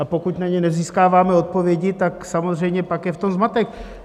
A pokud na ně nezískáváme odpovědi, tak samozřejmě pak je v tom zmatek.